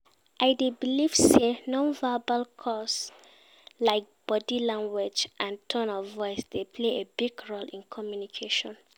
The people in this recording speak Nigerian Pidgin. I dey believe say non-verbal cues, like body language and tone of voice dey play a big role in communication.